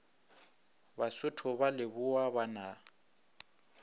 basotho ba lebowa ba na